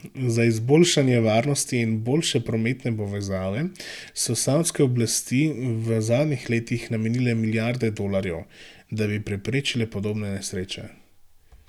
Za izboljšanje varnosti in boljše prometne povezave so savdske oblasti v zadnjih letih namenile milijarde dolarjev, da bi preprečile podobne nesreče.